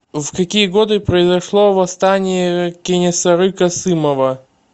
в какие годы произошло восстание кенесары касымова